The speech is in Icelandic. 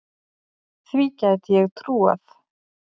Því gæti ég trúað